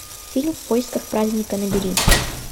фильм в поисках праздника набери